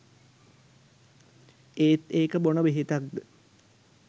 ඒත් ඒක බොන ‍බෙහෙතක්ද